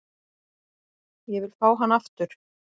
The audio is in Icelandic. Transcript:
Ég vil fá hann aftur.